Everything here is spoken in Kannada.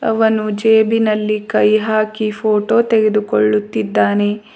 ಅವನು ಜೇಬಿನಲ್ಲಿ ಕೈ ಹಾಕಿ ಫೋಟೋ ತೆಗೆದುಕೊಳ್ಳುತ್ತಿದ್ದಾನೆ.